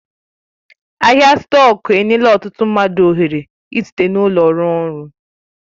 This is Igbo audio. Ahịa stọku enyela ọtụtụ mmadụ ohere ị site n'ụlọ rụọ ọrụ